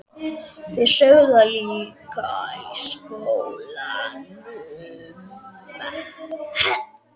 Þeir sögðu það líka í skólanum.